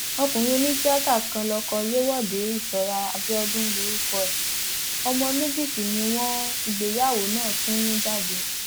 ọkùnrin onítìata kan lọkọ yewọde isọrà abiodun lorúkọ ẹ ọmọ méjì sì ni wọn ìgbéyàwó náà ti mú jáde